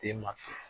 Den ma fili